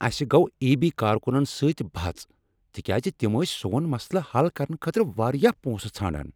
اسہ گوٚو ایی۔ بی کارکنن سۭتۍ بحث تکیازِ تِم ٲسۍ سون مسلہٕ حل کرنہٕ خٲطرٕ واریاہ پونسہٕ ژھاران۔